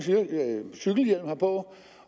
cykelhjelm havde på